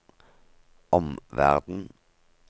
omverden